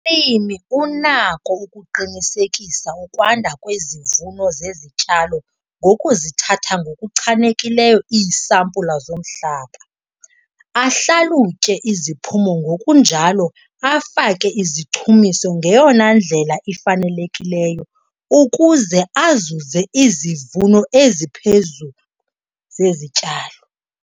Umlimi unako ukuqinisekisa ukwanda kwezivuno zezityalo ngokuzithatha ngokuchanekileyo iisampulu zomhlaba, ahlalutye iziphumo ngokunjalo afake izichumiso ngeyona ndlela ifanelekileyo ukuze azuze izivuno eziphezulu zezityalo.